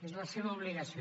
és la seva obligació